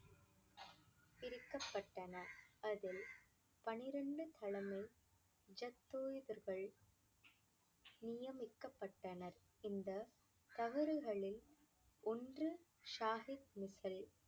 பிரிக்கப்பட்டன. அதில் பன்னிரண்டு கிழமை நியமிக்கப்பட்டனர். இந்த தவறுகளில் ஒன்று சாஹிப்